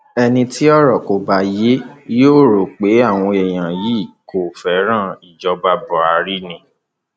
ẹni tí ọrọ kò bá yé yóò rò pé àwọn èèyàn yìí kò fẹràn ìjọba buhari ni